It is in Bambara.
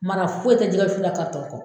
Mara foyi tɛ jɛgɛ wusu la kɔ.